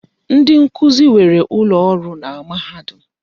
Ndi nkuzi nwere ụlọ ọrụ na mahadum.